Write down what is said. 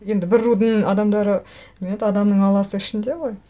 енді бір рудың адамдары немене еді адамның алласы ішінде ғой